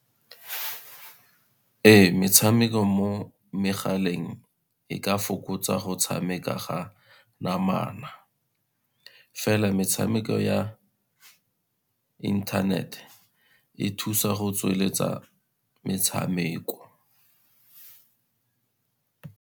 Ee, metshameko mo megaleng e ka fokotsa go tshameka ga namana, fela metshameko ya internet, e thusa go tsweletsa metshameko.